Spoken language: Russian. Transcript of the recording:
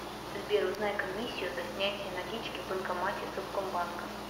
сбер узнай комиссию за снятие налички в банкомате совкомбанка